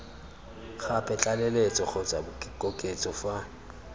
gape tlaleletso kgotsa koketso fa